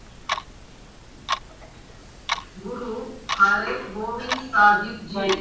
Guru Har Gobind Sahib Jai.